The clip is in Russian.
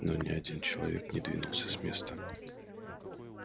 но ни один человек не двинулся с места